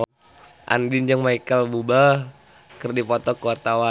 Andien jeung Micheal Bubble keur dipoto ku wartawan